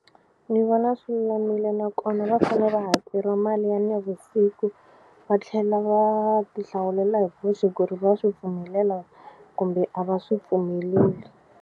Ni vona swi lulamile nakona va fane va hakeriwa mali ya navusiku va tlhela va ti hlawulela hi voxe ku ri va swi pfumelela kumbe a va swi pfumeleli.